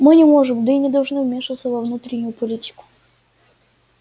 мы не можем да и не должны вмешиваться во внутреннюю политику